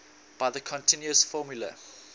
by the continuous formula